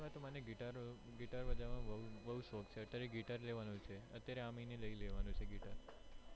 મને guitar guitar વજાવાનો બૌ શોખ છે અત્યારે guitar લેવાનો છે અત્યારે આ મહીને લઇ લેવાનો guitar છે.